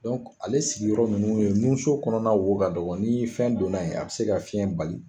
ale sigiyɔrɔ ninnu ye nunso kɔnɔna wo ka dɔgɔ ni fɛn donna yen a bɛ se ka fiɲɛ bali